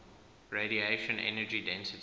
radiation energy density